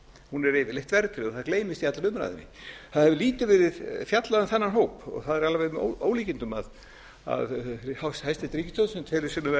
hún er yfirleitt verðtryggð og það gleymist í allri umræðunni það hefur lítið verið fjallað um þennan hóp og það er alveg með ólíkindum að hæstvirt ríkisstjórn sem telur sig vera